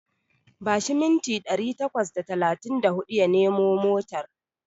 Bashi mintina ɗari takwas da talatin da huɗu ya nemo motar.